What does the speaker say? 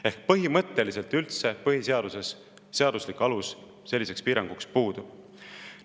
Ehk siis põhimõtteliselt üldse põhiseaduses seaduslik alus selliseks piiranguks puudub.